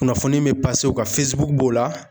Kunnafoni bɛ o kan b'o la.